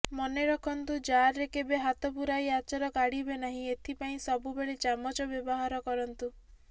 ମନେ ରଖନ୍ତୁ ଜାର୍ରେ କେବେ ହାତ ପୁରାଇ ଆଚାର କାଢ଼ିବେ ନାହିଁ ଏଥିପାଇଁ ସବୁବେଳେ ଚାମଚ ବ୍ୟବହାର କରନ୍ତୁ